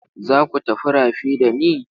Za ku tafi rafi da ni?